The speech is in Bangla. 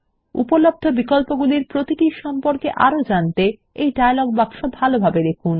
উপলব্ধ বিকল্পগুলির প্রতিটির সম্পর্কে আরো জানতে এই ডায়লগ বাক্স ভালোভাবে দেখুন